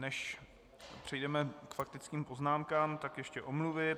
Než přejdeme k faktickým poznámkám, tak ještě omluvy.